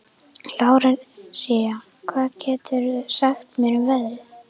Lárensína, hvað geturðu sagt mér um veðrið?